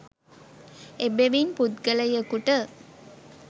එබැවින් පුද්ගලයකුට